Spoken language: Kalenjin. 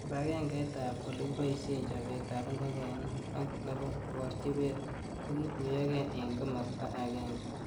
Kibagengeit ab olekiboishe chobet ab ngokenik ak nebo Kaborjibet kokituyokei eng komasta akenge